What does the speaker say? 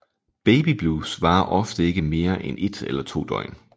Babyblues varer ofte ikke mere end et eller to døgn